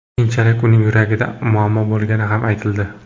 Keyinchalik uning yuragida muammo bo‘lgani ham aytildi.